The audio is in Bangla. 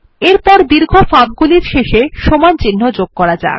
এরপর দীর্ঘ ফাঁক গুলির শেষে সমান চিহ্ন যোগ করা যাক